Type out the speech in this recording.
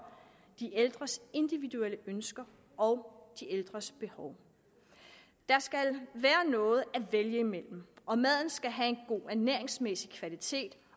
de ældres individuelle ønsker og behov der skal være noget at vælge imellem og maden skal have en god ernæringsmæssig kvalitet